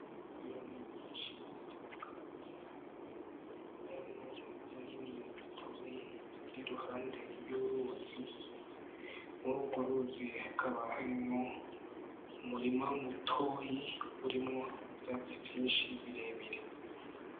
Inyoni nyishi zitandukanye harimwo zinini n'azitoyi ziri iruhande y'uruzi, Murugo ruzi hakaba harimwo umurima mutoyi urimwo ivyatsi vyishi birebire.